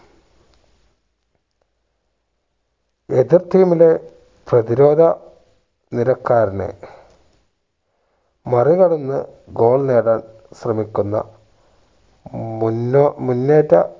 എതിർ team ലെ പ്രതിരോധ നിരക്കാരനെ മറികടന്ന് goal നേടാൻ ശ്രമിക്കുന്ന മുന്നോ മുന്നേറ്റ